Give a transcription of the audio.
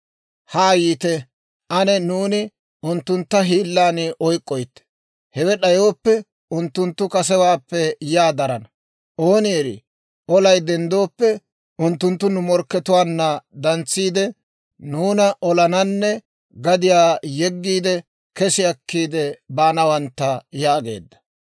Haa yiite, ane nuuni unttuntta hiillan oyk'k'oytte; hewe d'ayooppe unttunttu kasewaappe yaa darana. Ooni eri olay denddooppe, unttunttu nu morkkatuwaanna dantsiide, nuuna olananne gadiyaa yeggiide kesi akkiide baanawantta» yaageedda.